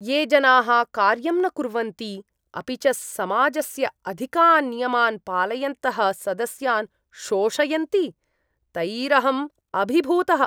ये जनाः कार्यं न कुर्वन्ति अपि च समाजस्य अधिकान् नियमान् पालयन्तः सदस्यान् शोषयन्ति, तैरहम् अभिभूतः।